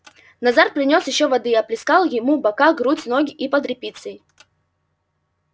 назар принёс ещё воды и оплескал ему бока грудь ноги и под репицей